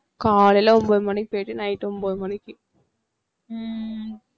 காலையில ஒன்பது மணிக்கு போயிட்டு night ஒன்பது மணிக்கு